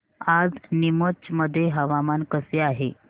आज नीमच मध्ये हवामान कसे आहे